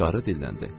Qarı dilləndi.